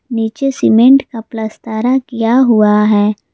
नीचे सीमेंट का प्लास्तरा हुआ है।